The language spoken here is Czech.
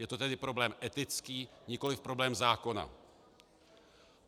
Je to tedy problém etický, nikoli problém zákona.